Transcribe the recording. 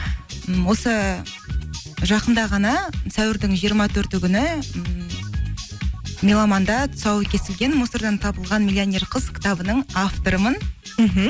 м осы жақында ғана сәуірдің жиырма төрті күні меломанда тұсауы кесілген мусордан табылған миллионер қыз кітабының авторымын мхм